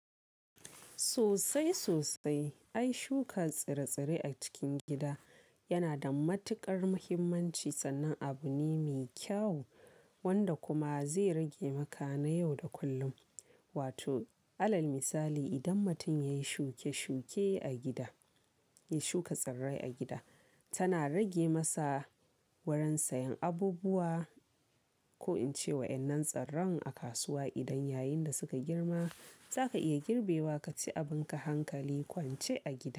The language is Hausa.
Sosai sosai. Ai shuka tsire-tsire a cikin gida yana da matuƙar muhimmanci sannan abu ne mai kyau wanda kuma zai rage maka na yau da kullum. Wato alal misali idan mutum ya yi shuke-shuke a gida, ya shuka tsirrai a gida, tana rage masa wurin sayan abubuwa ko in ce wa'yannan tsirran a kasuwa idan yayin da suka girma zaka iya girbe wa kaci abinka hankali kwance a gida.